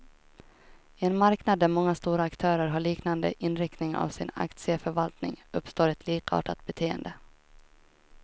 I en marknad där många stora aktörer har liknande inriktning av sin aktieförvaltning, uppstår ett likartat beteende.